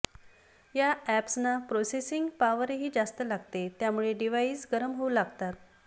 या अॅप्सना प्रोसेसिंग पावरही जास्त लागते यामुळे डिवाइस गरम होऊ लागतात